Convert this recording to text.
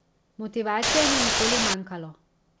Motivacije ni nikoli manjkalo.